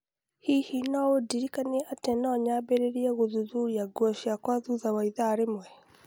Hihi no ũndirikanie atĩ no nyambĩrĩrie gũthuthuria nguo ciakwa thutha wa ĩthaa rĩmwe